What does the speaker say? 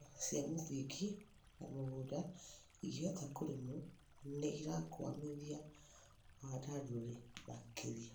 indo cia mũthingi, na mĩgũnda ĩngĩhota kũrĩmwo nĩ irakũamithia wandandũri makĩria.